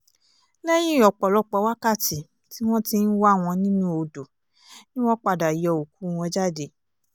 lẹ́yìn ọ̀pọ̀lọpọ̀ wákàtí tí wọ́n ti ń wá wọn nínú odò ni wọ́n padà yọ òkú wọn jáde